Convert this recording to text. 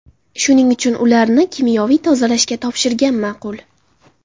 Shuning uchun ularni kimyoviy tozalashga topshirgan ma’qul.